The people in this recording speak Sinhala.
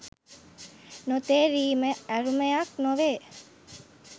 නොතේරීම අරුමයක් නොවේ.